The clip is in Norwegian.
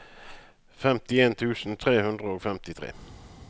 femtien tusen tre hundre og femtifire